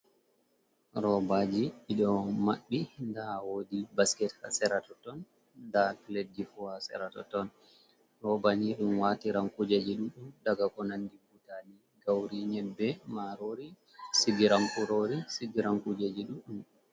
Robaji bido mabbi dawodi basket seratoton da pledji fu ha seratoton ,robanidum watiran kujeji ɗuddum daga ko andi butali gauri nyebbe marori sigiran gurori sigiran kujeji duɗɗum.